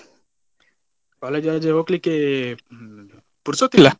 College ಆಚೆ ಹೋಗ್ಲಿಕ್ಕೆ ನ್ಮೂ~ ಪುರ್ಸೊತ್ತು ಇಲ್ಲ.